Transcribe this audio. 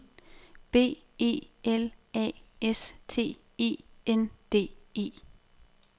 B E L A S T E N D E